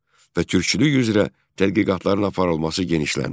Və türkçülük üzrə tədqiqatların aparılması genişləndi.